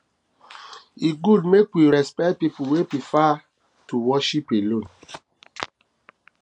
e good make we respect pipo wey prefer to prefer to worship alone